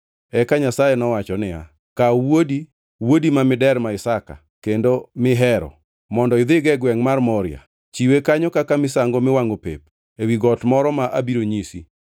Eka Nyasaye nowacho niya, “Kaw wuodi, wuodi ma miderma Isaka, kendo mi ihero mondo idhigo e gwengʼ mar Moria. Chiwe kanyo kaka misango miwangʼo pep ewi got moro ma abiro nyisi.”